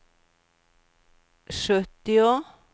sjuttio